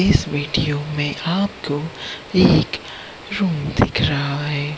इस वीडियो में आपको एक रूम दिख रहा है।